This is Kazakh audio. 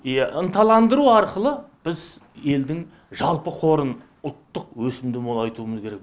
иә ынталандыру арқылы біз елдің жалпы қорын ұлттық өсімді молайтуымыз керек